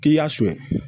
K'i y'a sun